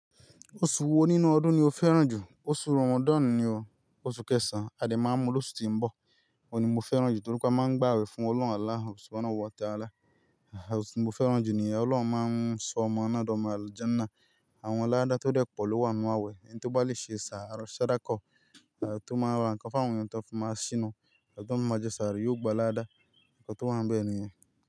Oṣù wo nínú ọdún ni o fẹ́ràn jù? Oṣù Ramadan ni o, oṣù kẹsan. A dè máa mú lóṣù ti ń bọ̀. Òun ni mo fẹ́ràn jù torí pé a máa ń gba àwẹ̀ fún Ọlọ́run Allah, oṣù náà wọ́n tẹ́ alálá. Oṣù mo fẹ́ràn jù ní ẹ̀ Ọlọ́run máa ń ṣọ ọmọ náà di omo alujanah Àwọn laada tó dẹ̀ pọ̀ ló wà nínú àwẹ̀, ẹni tó bá le ṣe ṣ'ara, ṣ'adákọ̀, ètò máa wà. Ǹkan fáwọn ènìyàn tó fún máa ṣínu, ètò ìmọ̀jẹ́ sàárè yóò gba aládá. Ǹkan tó wà níbẹ̀ nìyẹn.